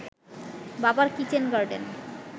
বাবার kitchen garden